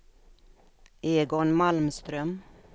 Egon Malmström